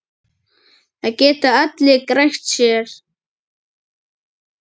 Það geta allir grætt, lagsi.